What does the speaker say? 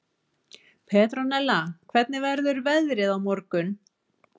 Petronella, hvernig verður veðrið á morgun?